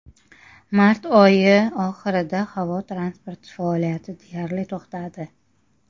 Mart oyi oxirida havo transporti faoliyati deyarli to‘xtadi.